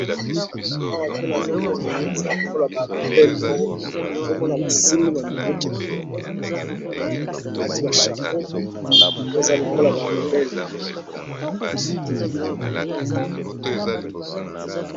Awa pe nazomona eza lokola ba rebelle moko boye namoni basimbi ba minduki nabango namoni penza eza neti barebelle